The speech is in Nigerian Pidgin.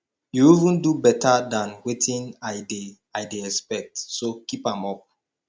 you even do beta dan wetin i dey i dey expect so keep am up